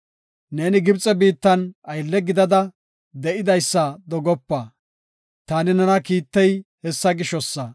Neeni Gibxe biittan aylle gidada de7idaysa dogopa. Taani nena kiittey hessa gishosa.